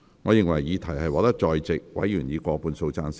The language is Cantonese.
我認為議題獲得在席委員以過半數贊成。